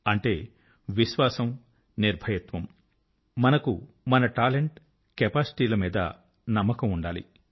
అంటే విశ్వాసం నిర్భీకత మనకు మన టాలెంట్ కెపాసిటీ ల గురించి నమ్మకం ఉండాలి